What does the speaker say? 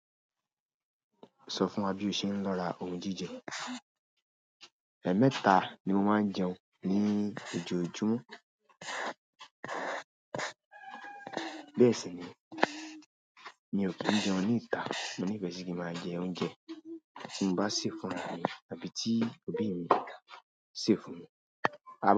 Sọ fún wa bí o ṣe ń lọ ra ohun jíjẹ. Ẹ̀ẹ̀mẹta ni mo máa ń jẹun ní ojoojúmọ́. Bẹ́ẹ̀ si ni mi o kin jẹun ni ita. Mo ní ìfẹ́ sí kí máa jẹ oúnjẹ tí mo bá sè fún ra mi àbí tí òbí mi sè fún mi.